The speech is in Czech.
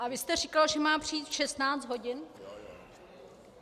A vy jste říkal, že má přijít v 16 hodin?